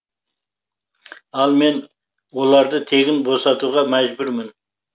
ал мен оларды тегін босатуға мәжбүрмін